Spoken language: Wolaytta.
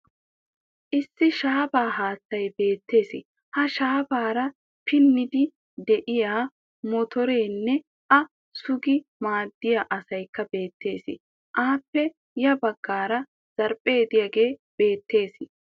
Issi shaafaa haattay beettes. Ha shaafaara pinniiddi diya motoreenne a sugi maaddiya asayikka beettes. Aappe ya baggaara zaafe diyage beettes.